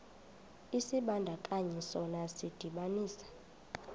isibandakanyi sona sidibanisa